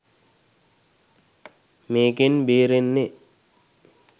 මේකෙන් බේරෙන්නේ